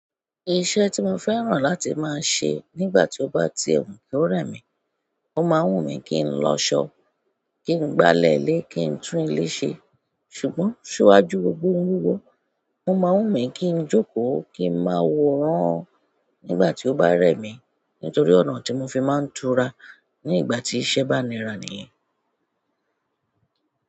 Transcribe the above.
Iṣẹ́ tí mo fẹ́ràn láti máa ṣe nígbà tí ó bá ti ẹ̀ kí ó rẹ̀ mí, ó máa wù mí kí n lọ ṣọ, kí n gbálẹ̀ lé, kí n tún ilé ṣe. Ṣùgbọ́n ṣúwájú ohun gbógbọ́, mó máa wù mí kí n jókòó, kí ń máa wòrán nígbà tí ó bá rẹ̀ mí nítorí ọ̀nà tí mo fi máa ń tura ní ìgbà tí iṣẹ́ bá nira nìyẹn.